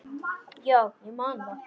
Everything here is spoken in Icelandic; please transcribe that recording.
Já, ég man það.